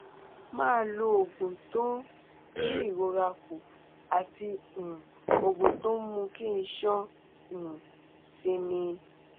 máa lo ògùn tó ń dín ìrora kù àti um ògùn tó ń ń mú kí iṣan um sinmi